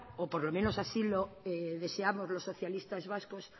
o por lo menos así lo deseamos los socialistas vascos